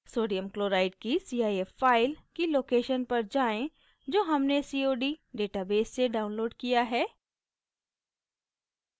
sodium chloride की cif file की location पर जाएँ जो हमने cod database से downloaded किया है